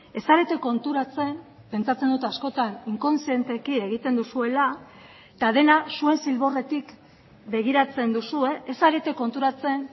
ez zarete konturatzen pentsatzen dut askotan inkontzienteki egiten duzuela eta dena zuen zilborretik begiratzen duzue ez zarete konturatzen